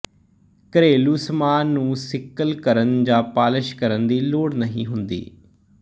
ਘਰੇਲੂ ਸਮਾਨ ਨੂੰ ਸਿਕਲ ਕਰਨ ਜਾਂ ਪਾਲਸ਼ ਕਰਨ ਦੀ ਲੋੜ ਨਹੀਂ ਹੁੰਦੀ